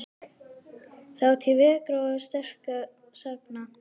Þátíð veikra og sterkra sagna.